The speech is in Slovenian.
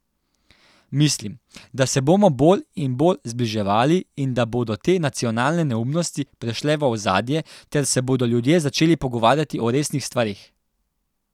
Mislim, da se bomo bolj in bolj zbliževali in da bodo te nacionalne neumnosti prešle v ozadje ter se bodo ljudje začeli pogovarjati o resnih stvareh.